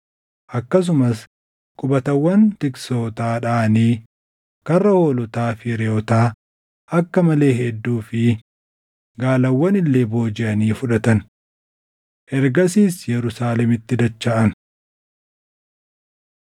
Akkasumas qubatawwan tiksootaa dhaʼanii karra hoolotaa fi reʼoota akka malee hedduu fi gaalawwan illee boojiʼanii fudhatan. Ergasiis Yerusaalemitti dachaʼan.